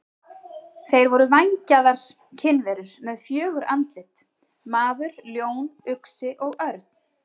Þeir voru vængjaðar kynjaverur með fjögur andlit: maður, ljón, uxi og örn.